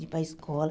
De ir para a escola.